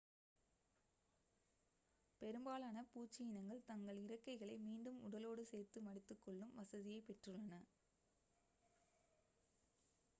பெரும்பாலான பூச்சி இனங்கள் தங்கள் இறக்கைகளை மீண்டும் உடலோடு சேர்த்து மடித்துக்கொள்ளும் வசதியைப் பெற்றுள்ளன